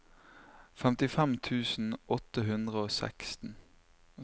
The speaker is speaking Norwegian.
femtifem tusen åtte hundre og seksten